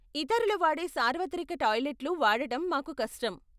ఇతరులు వాడే సార్వత్రిక టాయిలెట్లు వాడడం మాకు కష్టం.